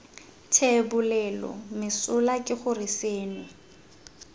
thebolelo mesola ke gore seno